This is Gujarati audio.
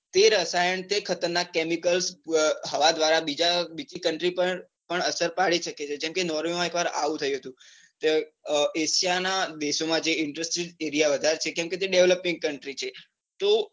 તે રસાયણ કે ખતરનાક chemical હવા દ્વારા બીજી country પર અસર પડી શકે છે. જેમ કે નોર્વે માં એક વાર આવું થયું હતું. એશિયા ના દેશો માં industries એરિયા જે વધારે છે. કેમ કે તે developing, country છે.